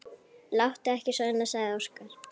Láttu ekki svona, sagði Óskar.